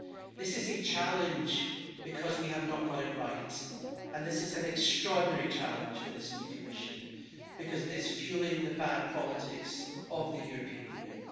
This is a challenge because we have not got it right, and this is an extraordinary challenge for this new Commission because it is feeling the bad politics of the European Union.